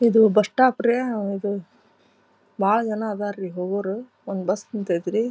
ಇದು bus stop ರೀ ಇದು ಬಹಳ ಜನ ಅದರಿ ಹೋಗೋರು ಒಂದ್ ಬಸ್ ನಿಂತೈತ್ರಿ.